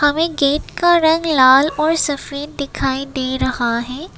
व गेट का रंग लाल और सफेद दिखाई दे रहा है।